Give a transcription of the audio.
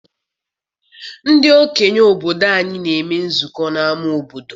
Ndị okenye obodo anyị na-eme nzukọ n'ama obodo.